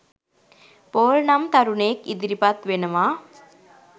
Paul නම් තරුණයෙක් ඉදිරිපත් වෙනවා